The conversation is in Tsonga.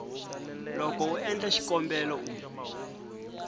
loko u endla xikombelo u